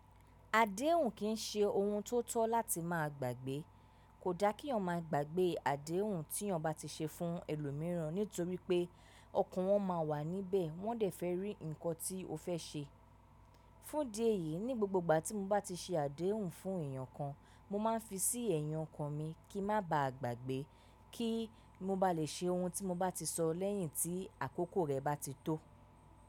Àdéhùn kì í ṣe ohun tó tọ́ láti máa gbàgbé. Kò da kí ọmọ máa gbàgbé àdéhùn tí eeyan bá ti ṣe fún ẹlòmíràn nítorí pé ọkùnrin wọn má a wà níbẹ̀ wọ́n dẹ̀ fẹ́ rí nǹkan tí o fẹ́ ṣe. Fún idi èyí, ní gbogbo ìgbà tí mo bá ti ṣe àdéhùn fún èèyàn kan, mo máa ń fi sí ẹ̀yin okan mi kí n má ba à gbàgbé, kí mo ba lè ṣe ohun tí mo bá ti sọ lẹ́yìn tí àkókò rẹ̀ bá ti tó.